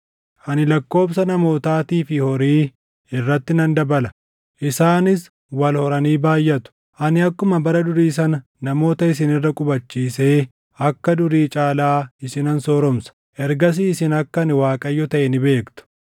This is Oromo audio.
Ani lakkoobsa namootaatii fi horii irratti nan dabala; isaanis wal horanii baayʼatu. Ani akkuma bara durii sana namoota isin irra qubachiisee kan durii caalaa isinan sooromsa. Ergasii isin akka ani Waaqayyo taʼe ni beektu.